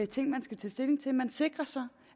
ting man skal tage stilling til man sikrer sig